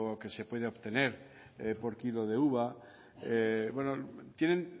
que se puede obtener por kilo de uva bueno tienen